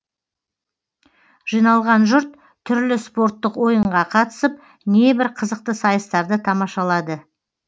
жиналған жұрт түрлі спорттық ойынға қатысып небір қызықты сайыстарды тамашалады